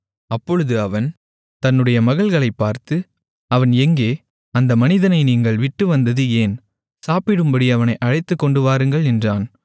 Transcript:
அப்பொழுது அவன் தன்னுடைய மகள்களைப் பார்த்து அவன் எங்கே அந்த மனிதனை நீங்கள் விட்டுவந்தது ஏன் சாப்பிடும்படி அவனை அழைத்துக்கொண்டு வாருங்கள் என்றான்